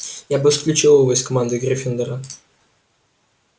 я бы исключил его из команды гриффиндора